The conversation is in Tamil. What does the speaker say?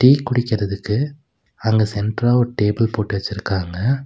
டீ குடிக்குதற்கு அங்க சென்ட்ரா ஒரு டேபிள் போட்டு வெச்சுருக்காங்க.